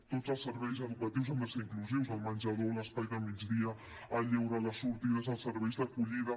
tots els serveis educatius han de ser inclusius el menjador l’espai del migdia el lleure les sortides els serveis d’acollida